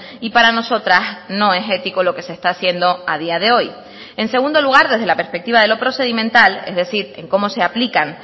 y para nosotras no es ético lo que se está haciendo a día de hoy en segundo lugar desde la perspectiva de lo procedimental es decir en cómo se aplican